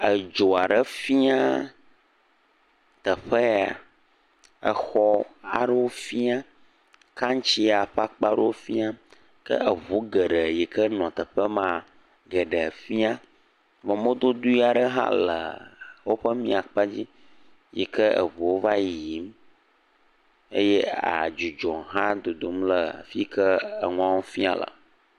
Edzi aɖe fĩa teƒe ya. Exɔ aɖewo fĩa kantsia ƒe akpa ɖewo fĩa. Ke eʋu geɖe yawo le teƒe maa geɖe fĩa, vɔ mɔdodo aɖewo hã le woƒe mía kpa dzi, yike eʋuwo va yiyim eye adzudzɔ dodom le afi yike enua fĩa le.